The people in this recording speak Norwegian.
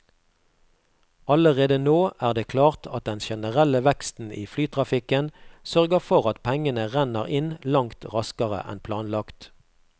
Allerede nå er det klart at den generelle veksten i flytrafikken sørger for at pengene renner inn langt raskere enn planlagt.